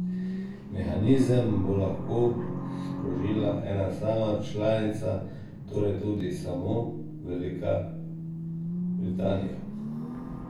Mehanizem bo lahko sprožila ena sama članica, torej tudi samo Velika Britanija.